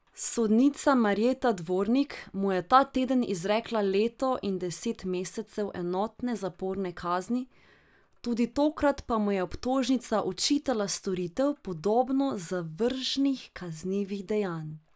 Sodnica Marjeta Dvornik mu je ta teden izrekla leto in deset mesecev enotne zaporne kazni, tudi tokrat pa mu je obtožnica očitala storitev podobno zavržnih kaznivih dejanj.